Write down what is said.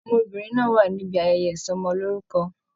Ọmọbìnrin náà wà níbí ayẹyẹ ìsọmọlorúkọ.